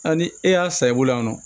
Hali ni e y'a san i bolo yan nɔ